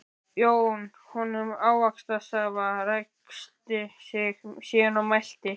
Jón honum ávaxtasafa, ræskti sig síðan og mælti